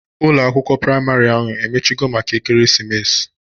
Ụlọ akwụkwọ praịmarị ahụ emechigo maka ekeresimesi?